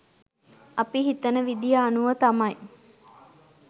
අපි හිතන විදිය අනුව තමයි